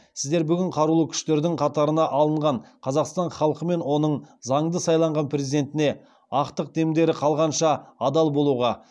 сіздер бүгін қарулы күштердің қатарына алынған қазақстан халқы мен оның заңды сайланған президентіне ақтық демдерін қалғанша адал болуға